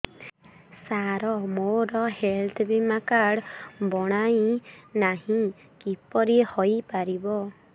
ସାର ମୋର ହେଲ୍ଥ ବୀମା କାର୍ଡ ବଣାଇନାହିଁ କିପରି ହୈ ପାରିବ